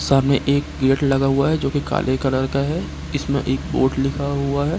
सामने एक गेट लगा हुआ है जो कि काले कलर का है इसमें एक बोर्ड लिखा हुआ है।